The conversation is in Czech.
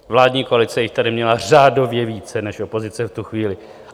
Vládní koalice jich tady měla řádově více než opozice v tu chvíli.